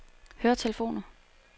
høretelefoner